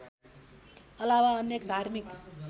अलावा अन्य धार्मिक